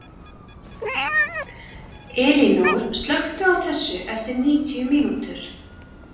Elínór, slökktu á þessu eftir níutíu mínútur.